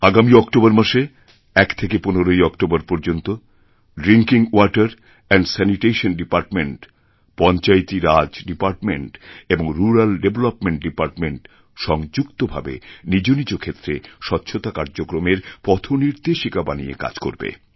আগামীঅক্টোবর মাসে এক থেকে পনেরই অক্টোবর পর্যন্ত drinking water and sanitation department panchayati raj department এবং রুরাল ডেভেলপমেন্ট ডিপার্টমেন্ট সংযুক্তভাবে নিজ নিজ ক্ষেত্রে স্বচ্ছতা কার্যক্রমের পথনির্দেশিকা বানিয়ে কাজকরবে